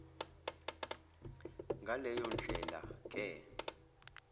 ngaleyo ndlela ke